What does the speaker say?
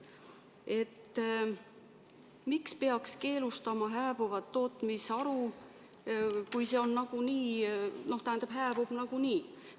Et miks peaks keelustama hääbuvat tootmisharu, kui see hääbub nagunii.